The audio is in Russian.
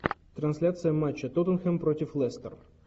трансляция матча тоттенхэм против лестер